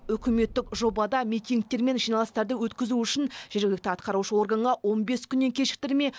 үкіметтік жобада митингтер мен жиналыстарды өткізу үшін жергілікті атқарушы органға он бес күннен кешіктірмей